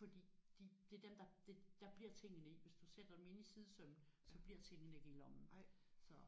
fordi de det er dem der der bliver tingene i. Hvis du sætter dem inde i sidesømmen så bliver tingene ikke i lommen så